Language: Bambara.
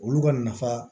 Olu ka nafa